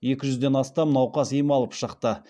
екі жүзден астам науқас ем алып шықты